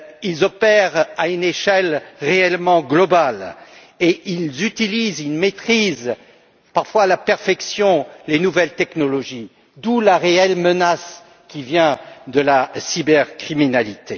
Ils opèrent à une échelle réellement planétaire et ils utilisent et maîtrisent, parfois à la perfection, les nouvelles technologies. D'où la réelle menace qui vient de la cybercriminalité.